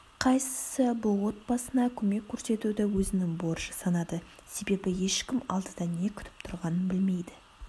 қайсысы бұл отбасына көмек көрсетуді өзінің борышы санады себебеі ешкім алдыда не күтіп тұрғанын білмейді